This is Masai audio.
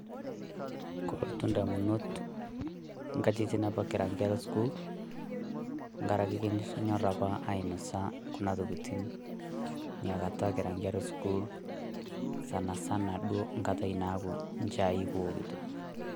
kolotu ndamunot nkatitin apa kira nkera e sukuul tenkaraki kinyorr apa ainosa kuna tokitin nakata kira nkera e sukuul sanasana duo nkata naaku nchai kiwokito.